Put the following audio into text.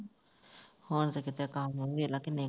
ਹੁਣ ਤੇ ਕੰਮ ਵੇਖਲਾ ਕਿੰਨੇ